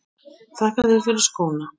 Þakka þér fyrir skóna.